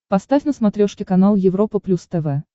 поставь на смотрешке канал европа плюс тв